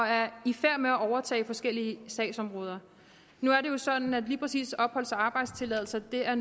er i færd med at overtage forskellige sagsområder nu er det jo sådan at lige præcis opholds og arbejdstilladelser er